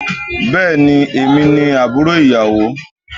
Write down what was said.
Bẹẹni, èmi ni àbúrò ìyàwó.